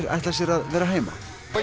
ætla sér að vera heima